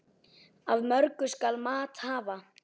Af mörgu skal mat hafa.